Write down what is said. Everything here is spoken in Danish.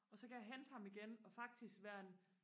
og så kan jeg hente ham igen og faktisk være en